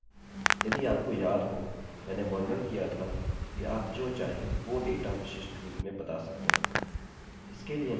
यदि आपको याद हो मैंने वर्णन किया था कि आप जो चाहें वो डेटा विशिष्ट रूप में बता सकते हैं